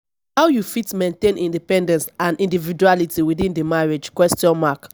how you fit maintain independence and individuality within di marriage question mark